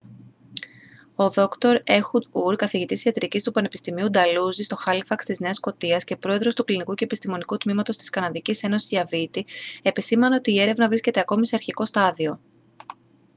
ο δρ έχουντ ουρ καθηγητής ιατρικής του πανεπιστημίου νταλουζί στο χάλιφαξ της νέας σκωτίας και πρόεδρος του κλινικού και επιστημονικού τμήματος της καναδικής ένωσης διαβήτη επεσήμανε ότι η έρευνα βρίσκεται ακόμη σε αρχικό στάδιο